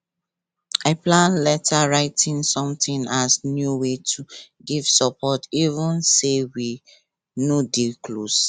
i plan letter writing something as new way to give support even say we no dey close